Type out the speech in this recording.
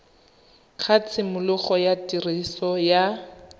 ga tshimologo ya tiriso ya